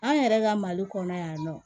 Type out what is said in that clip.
An yɛrɛ ka mali kɔnɔ yan nɔ